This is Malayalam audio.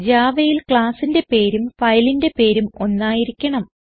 Javaയിൽ classന്റെ പേരും ഫയലിന്റെ പേരും ഒന്നായിരിക്കണം